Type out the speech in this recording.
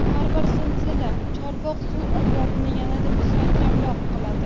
Har bir zilzila Chorvoq suv omborini yanada mustahkamroq qiladi.